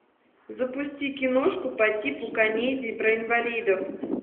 запусти киношку по типу комедии про инвалидов